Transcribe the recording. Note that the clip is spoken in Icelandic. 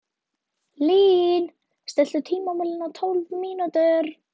Lín, stilltu tímamælinn á tólf mínútur.